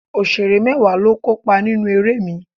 Òṣèré mẹ́wàá ló kópa nínú eré mi